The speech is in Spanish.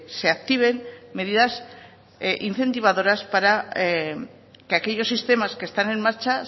se activen medidas incentivadoras para que aquellos sistemas que están en marcha